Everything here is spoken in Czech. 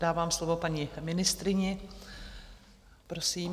Dávám slovo paní ministryni, prosím.